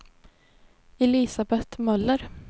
Elisabet Möller